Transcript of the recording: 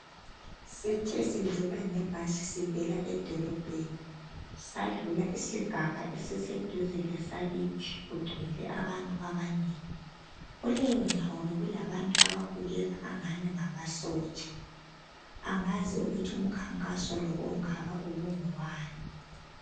Sithe sidlula nge bhasi sivela edolobheni sadlula isigaba esiseduze lesakithi, kule yindawo bekugcwele abantu abanengi kuleyo ndawo be kulabantu ababukeka angathi ngamasotsha, angazi ukuthi umkhankaso ongaka ubungowani.